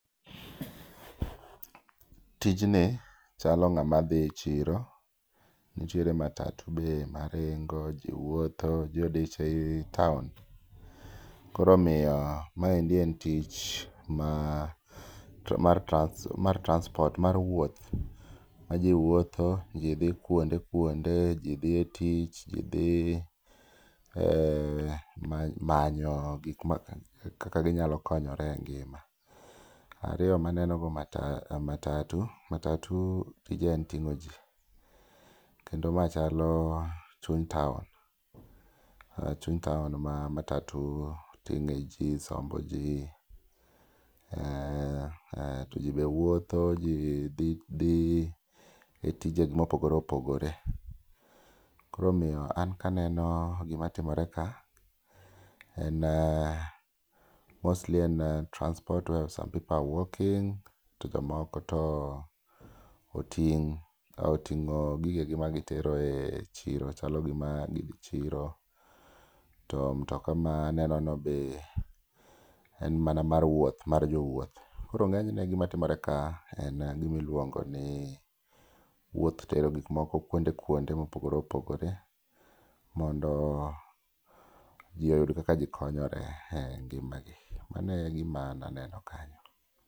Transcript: Tijni chalo ng'ama dhi chiro, nitiere matatu be maringo ji wuotho ji odich ei taon. Koro omiyo maendi en tich ma mar transport mar wuoth, ma ji wuotho ji dhi kuonde kuonde. Ji dhi e tich, ji dhi manyo gik ma kaka ginyalo konyore e ngima. Ariyo maneno go matatu, matatu tije en ting'o ji. Kendo ma chalo chuny taon, chuny taon ma matatu ting'e ji sombo ji. To ji be wuotho ji dhi e tije gi mopogore opogore. Koro omiyo an kaneno gima timore ka, en mostly en transport where some people are walking to jomoko to ting'. Ka oting'o gige gi ma gitero e chiro, chalo gima gidhi chiro, to mtoka maneno no be en mana mar wuoth mar jowuoth. Koro ng'enyne gima timore ka en gimiluongo ni wuoth tero gik moko kuonde kuonde mopogore opogore. Mondo ji oyud kaka ji konyore e ngima gi, mano e gima an aneno kanyo.